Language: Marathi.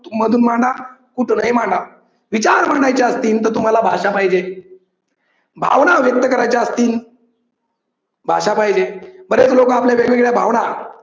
मधून मांडा कुठूनही मांडा विचार मांडायचे असतील तर तुम्हाला भाषा पाहिजे. भावना व्यक्त करायचे असतील. भाषा पाहिजे. बरेच लोक आपल्या वेगवेगळ्या भावना